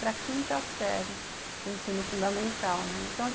Para a quinta série do ensino fundamental, né. Então,